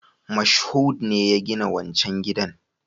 Moshood ne ya gina wancan gidan